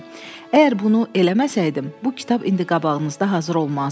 Əgər bunu eləməsəydim, bu kitab indi qabağınızda hazır olmazdı.